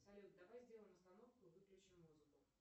салют давай сделаем остановку выключим музыку